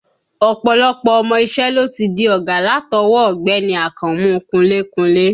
Ọ̀pọ̀lọpọ̀ ọmọ iṣẹ́ ló ti di ọ̀gá látọwọ́ ọ Ọ̀gbẹ́ni Akànmú kunlé kunlé